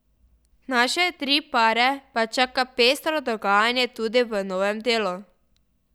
Naše tri pare pa čaka pestro dogajanje tudi v novem delu.